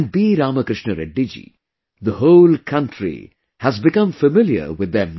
Ramakrishna Reddy ji...the whole country has become familiar with them now